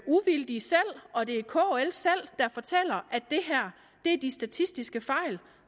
uvildige og det er kl selv der fortæller at det her er de statistiske fejl